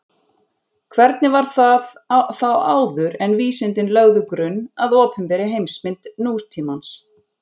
Hvernig var það þá áður en vísindin lögðu grunn að opinberri heimsmynd nútímans?